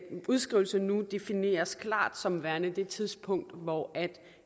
udskrivelse nu defineres klart som værende det tidspunkt hvor